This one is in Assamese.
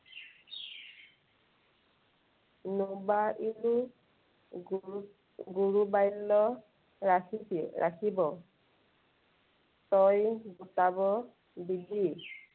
গুৰু বাল্য ৰাখিছিল, ৰাখিব। তই গোটাব দিলি